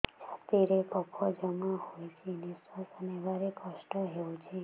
ଛାତିରେ କଫ ଜମା ହୋଇଛି ନିଶ୍ୱାସ ନେବାରେ କଷ୍ଟ ହେଉଛି